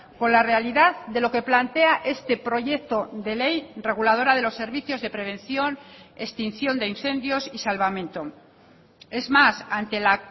con la realidad de lo que plantea este proyecto de ley reguladora de los servicios de prevención extinción de incendios y salvamento es más ante la